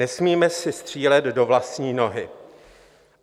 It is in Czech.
Nesmíme si střílet do vlastní nohy.